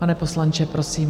Pane poslanče, prosím.